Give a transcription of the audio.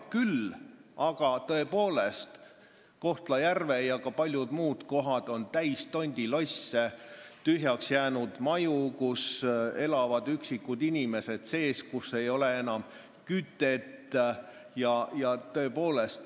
Küll aga on Kohtla-Järve ja ka paljud muud kohad tõepoolest täis tondilosse, tühjaks jäänud maju, kus elavad vaid mõned üksikud inimesed ja kus ei ole kütet.